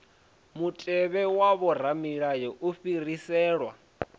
mutevhe wa vhoramilayo u fhiriselwa